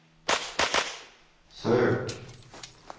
søk